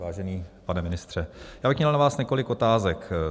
Vážený pane ministře, já bych měl na vás několik otázek.